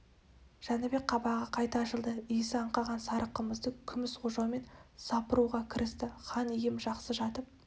жәнібек қабағы қайта ашылды иісі аңқыған сары қымызды күміс ожаумен сапыруға кірісті хан ием жақсы жатып